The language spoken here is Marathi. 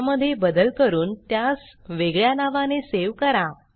त्या मध्ये बदल करून त्यास वेगळ्या नावाने सेव करा